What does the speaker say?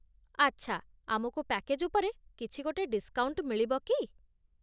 ଆଚ୍ଛା । ଆମକୁ ପ୍ୟାକେଜ୍ ଉପରେ କିଛିଗୋଟେ ଡିସ୍କାଉଣ୍ଟ ମିଳିବ କି?